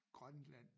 Grønland